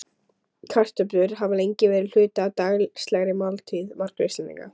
Kartöflur hafa lengi verið hluti af daglegri máltíð margra Íslendinga.